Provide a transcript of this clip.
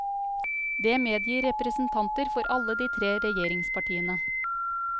Det medgir representanter for alle de tre regjeringspartiene.